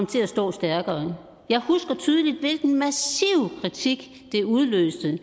til at stå stærkere jeg husker tydeligt hvilken massiv kritik det udløste at